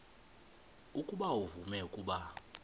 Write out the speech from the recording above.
ukuba uvume ukuba